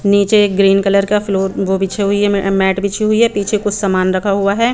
नीचे एक green colour का फ्लोर वो बिछी हुई हैं मैट बिछी हुई है पीछे कुछ सामान रखा हुआ हैं।